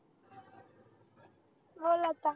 बोल आता